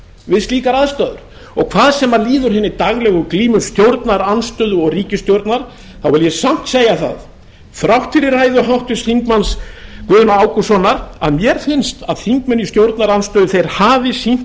við slíkar aðstæður hvað sem líður hinni daglegu glímu stjórnarandstöðu og ríkisstjórnar vil ég samt segja það þrátt fyrir ræðu háttvirts þingmanns guðna ágústssonar að mér finnst að þingmenn í stjórnarandstöðu hafi sýnt